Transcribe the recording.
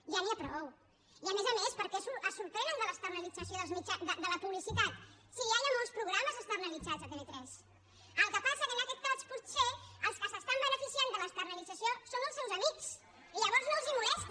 ja n’hi ha prou i a més a més per què es sorprenen de l’externalització de la publicitat si ja hi ha molts programes externalitzats a tv3 el que passa que en aquest cas potser els que s’estan beneficiant de l’externalització són els seus amics i llavors no els molesta